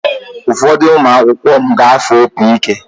Ụfọdụ ụmụ akwụkwọ m ga-afụ opi ike.